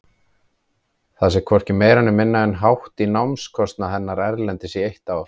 Það sé hvorki meira né minna en hátt í námskostnað hennar erlendis í eitt ár.